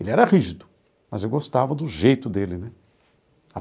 Ele era rígido, mas eu gostava do jeito dele, né?